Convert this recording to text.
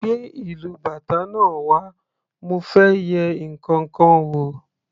Gbé ìlú bàtá náà wá mo fẹ́ yẹ ǹkankan wò.